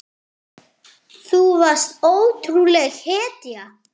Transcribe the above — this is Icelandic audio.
Þú varst ótrúleg hetja.